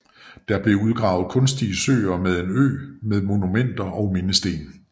Der blev udgravet kunstige søer med en ø med monumenter og mindesten